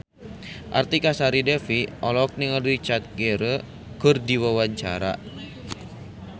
Artika Sari Devi olohok ningali Richard Gere keur diwawancara